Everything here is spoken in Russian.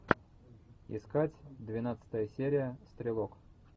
искать двенадцатая серия стрелок